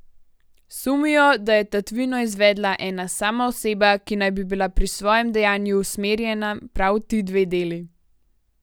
Sumijo, da je tatvino izvedla ena sama oseba, ki naj bi bila pri svojem dejanju usmerjena prav v ti dve deli.